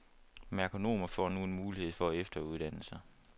Merkonomer får nu en mulighed for at efteruddanne sig.